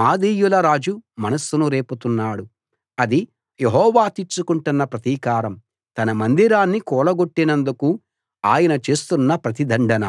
మాదీయుల రాజు మనస్సును రేపుతున్నాడు అది యెహోవా తీర్చుకుంటున్న ప్రతీకారం తన మందిరాన్ని కూలగొట్టినందుకు ఆయన చేస్తున్న ప్రతిదండన